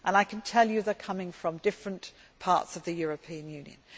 I can tell you that they are coming from different parts of the European